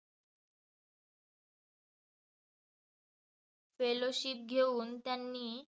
Fellowship घेऊन त्यांनी